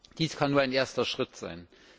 Dies kann nur ein erster Schritt sein.